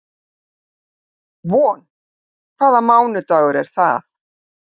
Von, hvaða mánaðardagur er í dag?